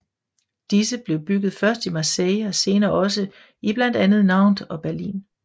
Disse blev bygget først i Marseille og senere også i blandt andet Nantes og Berlin